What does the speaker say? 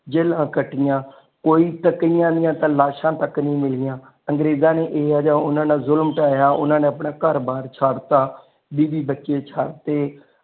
ਜੇਲਾਂ ਕੱਟਿਆਂ ਕੋਈ ਕਈਆਂ ਦੀ ਤਾ ਲਾਸ਼ਾਂ ਤੱਕ ਨਹੀਂ ਮਿਲਿਆ ਅੰਗਰੇਜਾਂ ਨੇ ਏਹੋ ਜਿਹਾ ਓਨਾ ਨਾਲ ਜ਼ੁਲਮ ਟਾਯਾ ਉਹਨਾਂ ਨੇ ਆਪਣਾ ਘਰ ਬਾਰ ਛੱਡ ਤਾ ਬੀਵੀ ਬੱਚੇ ਛੱਡ ਤੇ ਜੇਲ੍ਹਾਂ ਕੱਟਿਆ।